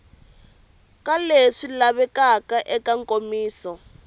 ka leswi lavekaka eka nkomiso